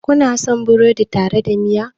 Kuna son burodi tare da miya?